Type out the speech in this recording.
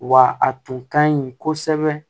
Wa a tun ka ɲi kosɛbɛ